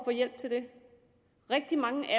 få hjælp til det rigtig mange af